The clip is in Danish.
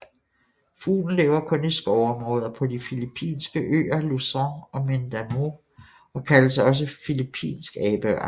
Fuglen lever kun i skovområder på de filippinske øer Luzon og Mindanao og kaldes også filippinsk abeørn